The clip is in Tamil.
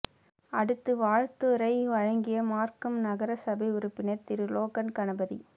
அடுத்து வாழ்த்துரை வழங்கிய மார்க்கம் நகரசபை உறுப்பினர் திரு லோகன் கணபதி